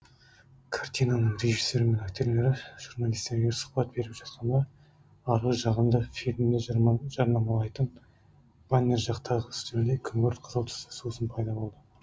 картинаның режиссері мен актерлері журналистерге сұхбат беріп жатқанда арғы жағында фильмді жарнамалайтын баннер жақтағы үстелде күңгірт қызыл түсті сусын пайда болды